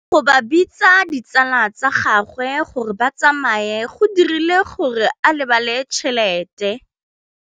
Go gobagobetsa ga ditsala tsa gagwe, gore ba tsamaye go dirile gore a lebale tšhelete.